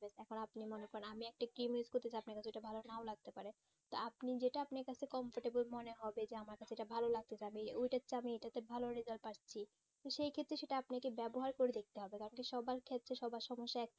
এখন আপনি মনে করেন আমি একটা use করতেছি আপনাকে এটা ভালো না লাগতেও পারে তা আপনি যেটা আপনার কাছে কম সেটা বেশ মনে হবে আমার কাছে এটা ভালো লাগতাছে আমি ওটার চেয়ে এইটাতে ভালো result পাচ্ছি তো সেই ক্ষেত্রে সেটা আপনাকে ব্যবহার করে দেখতে হবে কারণ কি সবার ক্ষেত্রে সবার সমস্যা একই